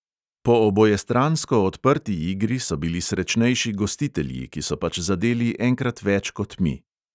Po obojestransko odprti igri so bili srečnejši gostitelji, ki so pač zadeli enkrat več kot mi.